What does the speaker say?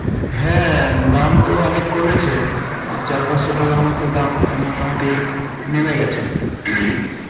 হ্যাঁ দাম তো অনেক কমেছে চার পাঁচশো টাকার মত দাম মোটামুটি নেমে গেছে